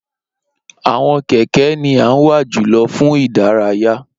Awọn kẹkẹ ni a n wa julọ fun idaraya.